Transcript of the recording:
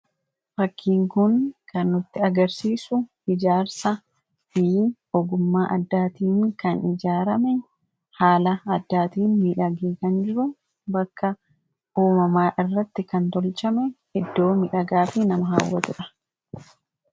fakkiinkuun kanutti agarsiisu ijaarsa fiyyi ogummaa addaatiin kan ijaarame haala addaatiin midhagee kan jiru bakka uumamaa irratti kan tolchame iddoo midhagaafi nama haawwatu dha